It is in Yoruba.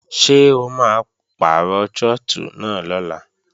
Ṣé o máa pàrọ̀ trọ́tù náà lọ́la?